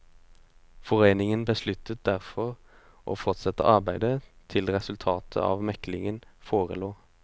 Foreningen besluttet derfor å fortsette arbeidet til resultatet av meklingen forelå.